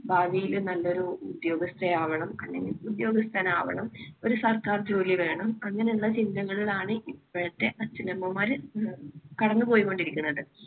ഭാവിയിൽ നല്ലൊരു ഉദ്യോഗസ്ഥ ആവണം അല്ലെങ്കിൽ ഉദ്യോഗസ്ഥൻ ആവണം ഒരു സർക്കാർ ജോലി വേണം അങ്ങനെയുള്ള ചിന്തകളിലാണ് ഇപ്പോഴത്തെ അച്ഛനമ്മമാര് കടന്നുപോയിക്കൊണ്ടിരിക്കുന്നത്.